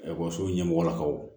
Ekɔliso ɲɛmɔgɔlakaw